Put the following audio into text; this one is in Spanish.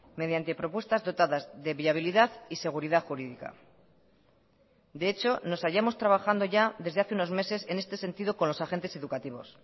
mediante propuestas dotadas de viabilidad y seguridad jurídica de hecho nos hayamos trabajando ya desde hace unos meses en este sentido con los agentes educativos